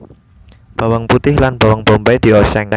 Bawang putih lan bawang bombay dioseng